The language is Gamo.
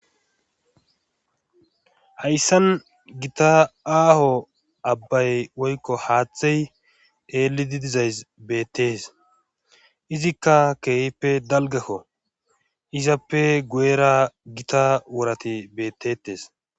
hayssan gita aaho abbay woykko haaththey eelidi dizays beettees izikka keehippe dalgakko izappe gu7era gita wurati beettetes